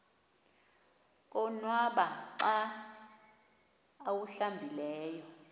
konwaba xa awuhlambileyo